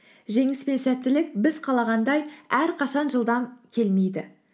жеңіс пен сәттілік біз қалағандай әрқашан жылдам келмейді